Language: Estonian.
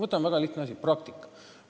Võtame väga lihtsa asja: praktika.